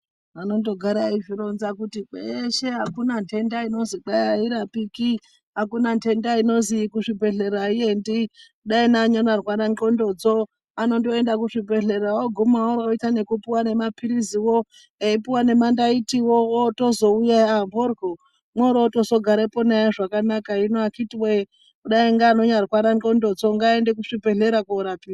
Vanondogara veizvironza kuti kweshe akuna nhenda inozi kwa airapiki akuna nhenda inozwi kuzvibehleya aiendi, neanondorwara ndlondodzo anondoenda kuzvibhehleya oguma oita nekupuwa nemapilizi wo eipuwa nemandaiti wo otozouya aah mhoryo, mworotozo gareporenaye zvakanaka ,hino akiti woye dai ainyarwara ndhlondodzo ngaaende kuzvibhehlera korapiwa.